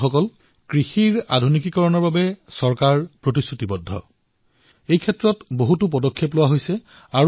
বন্ধুসকল খেতিক আধুনিক কৰি তোলাৰ বাবে চৰকাৰ প্ৰতিশ্ৰুতিৱদ্ধ আৰু অনেক পদক্ষেপো গ্ৰহণ কৰিছে